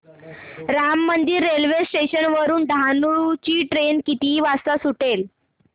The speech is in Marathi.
राम मंदिर रेल्वे स्टेशन वरुन डहाणू ची ट्रेन किती वाजता सुटेल